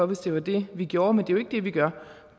hvis det var det vi gjorde men det er jo ikke det vi gør